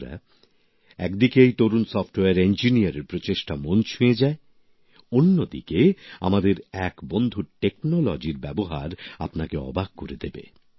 বন্ধুরা একদিকে এই তরুণ সফটওয়্যার ইঞ্জিনিয়ার এর প্রচেষ্টা মন ছুঁয়ে যায় অন্যদিকে আমাদের এক বন্ধুর প্রযুক্তির ব্যবহার আপনাকে অবাক করে দেবে